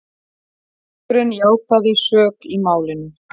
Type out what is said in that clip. Presturinn játaði sök í málinu